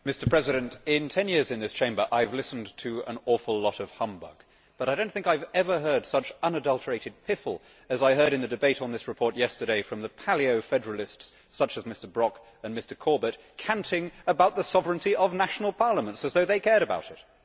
Mr President, in 10 years in this Chamber I have listened to an awful lot of humbug, but I do not think I have ever heard such unadulterated piffle as I heard in the debate on this report yesterday from Paleo federalists such as Mr Brok and Mr Corbett, canting about the sovereignty of national parliaments as though they cared about it.